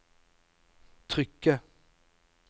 trykket